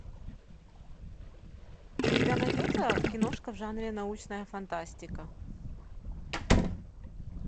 у тебя найдется киношка в жанре научная фантастика